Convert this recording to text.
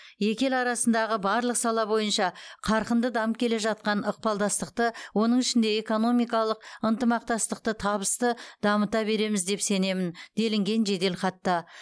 екі ел арасындағы барлық сала бойынша қарқынды дамып келе жатқан ықпалдастықты оның ішінде экономикалық ынтымақтастықты табысты дамыта береміз деп сенемін делінген жеделхатта